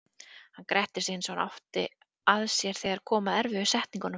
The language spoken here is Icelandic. Hann gretti sig eins og hann átti að sér þegar kom að erfiðu setningunum.